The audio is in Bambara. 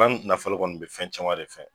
banki nafolo kɔni be fɛn caman de fɛ